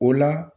O la